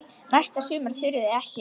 Næsta sumar þurfið þið ekki.